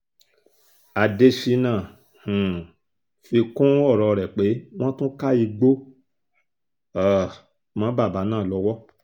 adésínà um fi kún ọ̀rọ̀ rẹ̀ pé wọ́n tún ká igbó um mọ́ bàbá náà lọ́wọ́